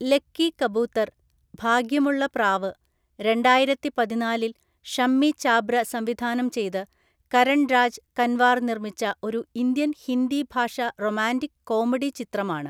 Lucky Kabootar‍ (ഭാഗ്യമുള്ള പ്രാവ്) രണ്ടായിരത്തിപതിനാലില്‍ ഷമ്മി ചാബ്ര സംവിധാനം ചെയ്ത് കരൺ രാജ് കൻവാർ നിർമ്മിച്ച ഒരു ഇന്ത്യൻ ഹിന്ദി ഭാഷാ റൊമാൻ്റിക്-കോമഡി ചിത്രമാണ്.